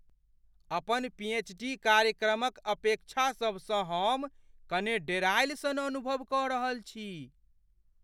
अपन पीएचडी कार्यक्रमक अपेक्षासभसँ हम कने डेरायल सन अनुभव कऽ रहल छी।